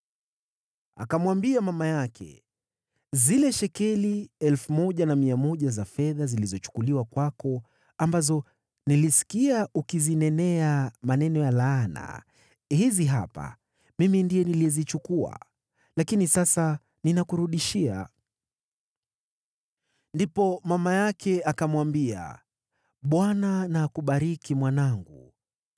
Akamwambia mama yake, “Zile shekeli 1,100 za fedha zilizochukuliwa kwako, ambazo nilisikia ukizinenea maneno ya laana, hizi hapa; mimi ndiye niliyezichukua, lakini sasa ninakurudishia.” Ndipo mama yake akamwambia, “ Bwana na akubariki, mwanangu.”